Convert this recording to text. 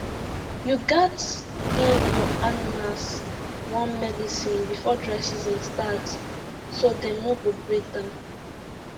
you gats give your animals worm medicine before dry season start so dem no go break down